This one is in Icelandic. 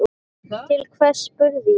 Til hvers, spurði ég.